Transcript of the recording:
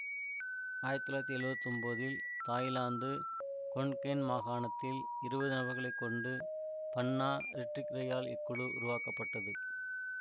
ஆயிரத்தி தொள்ளாயிரத்தி எழுவத்தி ஒன்போதில் தாய்லாந்து கொன்கேன் மாகணத்தில் இருபது நபர்களை கொண்டு பன்னா ரிட்டிக்ரையால் இக்குழு உருவாக்கப்பட்டது